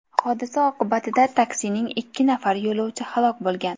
Hodisa oqibatida taksining ikki nafar yo‘lovchi halok bo‘lgan.